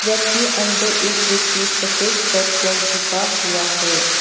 जब की अंदर एक व्यक्ति सफेद शर्ट पर झुका हुआ है।